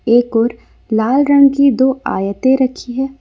एक और लाल रंग की दो आयतें रखी है।